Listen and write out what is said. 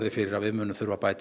fyrir að við þurfum að bæta